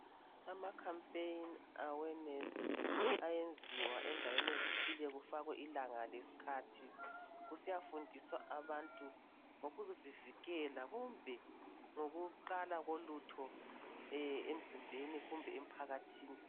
Ama "Campaign" awe "nurse" ayenzwa endaweni ezithile kufakwe ilanga leskhathi, kusiyafundiswa abantu ngokuzivikela kumbe ngokuqala kolutho emzimbeni kumbe emphakathini.